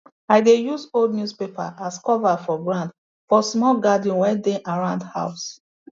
i dey use old newspaper as cover for ground for small garden wey dey around house